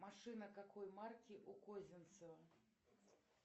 машина какой марки у козинцева